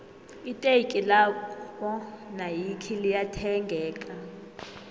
iteki lakwo nayikhi liya thengeka